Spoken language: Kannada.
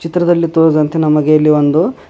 ಚಿತ್ರದಲ್ಲಿ ತೋರಿಸಿದಂತೆ ನಮಗೆ ಇಲ್ಲಿ ಒಂದು--